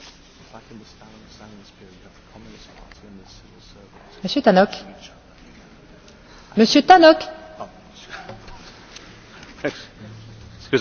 Madam President, the Russian Justice Ministry's request to have the human and civil rights organisation Memorial closed down reflects just about all that is wrong with President Putin's Russia.